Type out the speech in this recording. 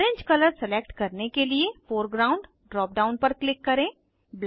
orange colour select करने के लिए फोरग्राउंड ड्राप डाउन पर क्लिक करें